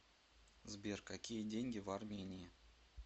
сбер какие деньги в армении